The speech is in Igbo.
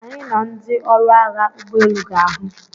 Anyị na ndị ọrụ agha ụgbọ elu ga-ahụ.